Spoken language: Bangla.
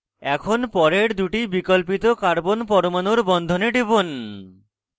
এখন পরের দুটি বিকল্পিত carbon পরমাণুর বন্ধনে টিপুন